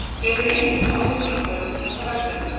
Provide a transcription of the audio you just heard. Hver eru einkenni ofvirkni hjá börnum og hvað veldur henni?